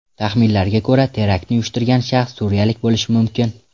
Taxminlarga ko‘ra, teraktni uyushtirgan shaxs suriyalik bo‘lishi mumkin.